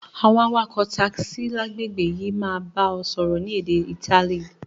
Àwon awakò taxi lágbègbè yi máa ba o sọ́rọ́ ni édé Itali